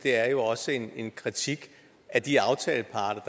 jo også en kritik af de aftaleparter